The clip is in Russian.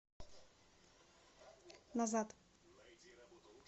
назад